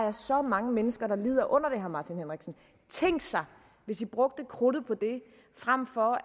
er så mange mennesker der lider under det tænk sig hvis i brugte krudtet på det frem for at